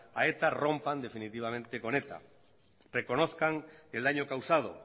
a eta rompan definitivamente con eta reconozcan el daño causado